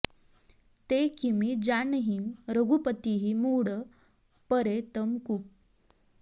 ते किमि जानहिं रघुपतिहि मूढ़ परे तम कूप